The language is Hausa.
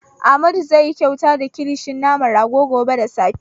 Amadu zai yi kyauta da kilishin naman rago gobe da safe.